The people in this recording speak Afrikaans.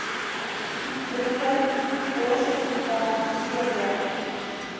brooklyn borshospitaal tb